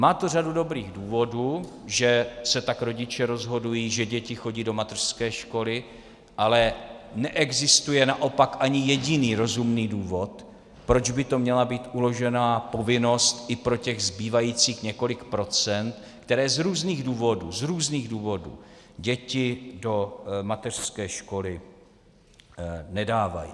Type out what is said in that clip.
Má to řadu dobrých důvodů, že se tak rodiče rozhodují, že děti chodí do mateřské školy, ale neexistuje naopak ani jediný rozumný důvod, proč by to měla být uložená povinnost i pro těch zbývajících několik procent, kteří z různých důvodů, z různých důvodů děti do mateřské školy nedávají.